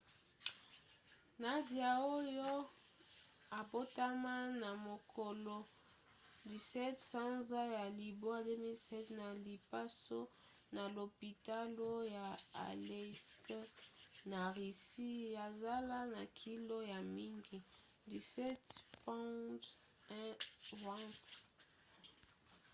nadia oyo abotama na mokolo 17 sanza ya libwa 2007 na lipaso na lopitalo ya aleisk na russie azala na kilo ya mingi 17 pounds 1 ounce